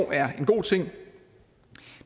er en god ting